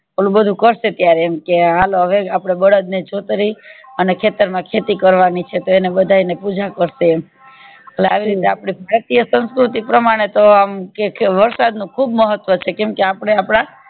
ઓલું બધું કરશે ત્યારે એમ કે હાલો હવે આપડે બળદ બે છોતરી અને ખેતર માં ખેતી કવાની છે તો એને બધાય ને પૂજા કરશે એમ લે આવી રીતે આપડે ભારતીય સંસ્કૃતિ પ્રમાણે ને તો કે વરસાદ નું ખુબ મહાત્વ છે કેમ કે આપડે આપડા